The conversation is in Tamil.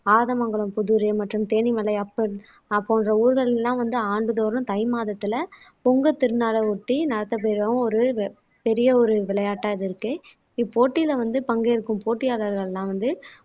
ஆதமங்கலம் புதூர் மற்றும் தேனி மலை ஆஹ் போன்ற ஊர்களில் எல்லாம் வந்து ஆண்டுதோறும் தை மாதத்தில பொங்கல் திருநாளை ஒட்டி நடத்தப்பெறும் ஒரு வ பெரிய ஒரு விளையாட்டா இது இருக்கு இப்போட்டியில வந்து பங்கேற்கும் போட்டியாளர்கள் எல்லாம் வந்து